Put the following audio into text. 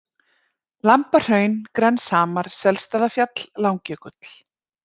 Lambahraun, Grenshamar, Selstaðafjall, Langjökull